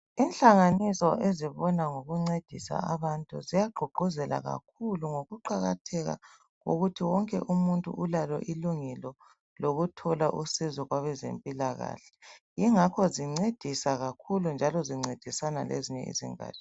Inhlanganiso ezibona ngokuncedisa abantu ziyagqugquzela abantu ukuqakatheka kokuthi wonke umuntu ulalo ilungelo lokuthola usizo kwabezempilakahle yingakho zincedisa kakhulu njalo zincedisana lezinye izingatsha.